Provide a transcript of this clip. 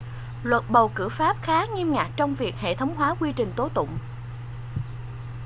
luật bầu cử pháp khá nghiêm ngặt trong việc hệ thống hóa quy trình tố tụng